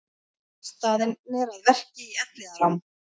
Staðnir að verki í Elliðaám